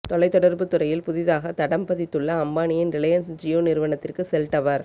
தொலைத் தொடர்புத் துறையில் புதியதாக தடம் பதித்துள்ள அம்பானியின் ரிலையன்ஸ் ஜியோ நிறுவனத்திற்கு செல் டவர்